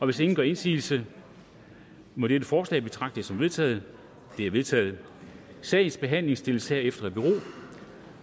hvis ingen gør indsigelse mod dette forslag betragter som vedtaget det er vedtaget sagens behandling stilles herefter i bero